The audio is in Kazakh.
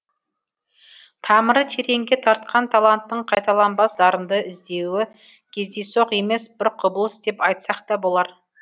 тамыры тереңге тартқан таланттың қайталанбас дарынды іздеуі кездейсоқ емес бір құбылыс деп айтсақ та болар